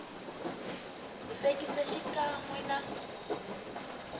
hi fekisi xikan we na